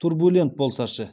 турбулент болса ше